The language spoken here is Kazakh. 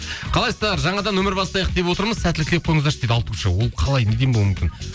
қалайсыздар жаңадан өмір бастайық деп отырмыз сәттілік тілеп қойыңыздаршы дейді алтуша ол қалай неден болуы мүмкін